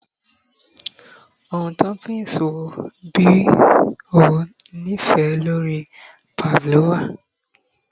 Ohun toppings wo bi o ni ife lori pavlova?